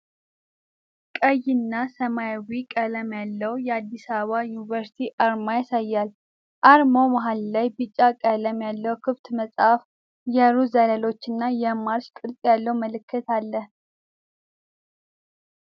ቀይና ሰማያዊ ቀለም ያለው የአዲስ አበባ ዩኒቨርሲቲ አርማ ያሳያል። አርማው መሃል ላይ ቢጫ ቀለም ያለው ክፍት መጽሐፍ፣ የሩዝ ዘለላዎችና የማርሽ ቅርጽ ያለው ምልክት አለ።